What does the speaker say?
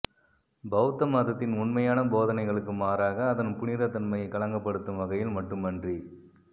பௌத்த மதத்தின் உண்மையான போதனைகளுக்கு மாறாக அதன் புனிதத்தன்மையை களங்கப்படுத்தும் வகையில் மட்டுமன்றி